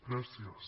gràcies